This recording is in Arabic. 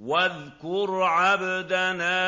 وَاذْكُرْ عَبْدَنَا